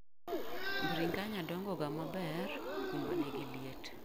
bringanya dongo ga maber kuma nigiliet.